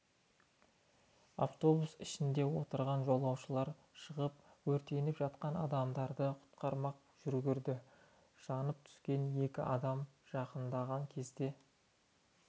автобустың ішінде отырған жолаушылар шығып өртеніп жатқан адамдарды құтқармаққа жүгірді жанып түскен екі адамға жақындаған кезде